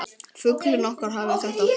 Fuglinn okkar hafði þetta allt.